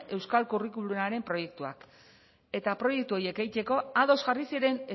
euskal curriculumaren proiektuak eta proiektu horiek egiteko ados jarri ziren